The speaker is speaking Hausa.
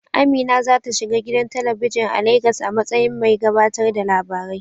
Amina za ta shiga gidan talabijin a Legas a matsayin mai gabatar da labarai.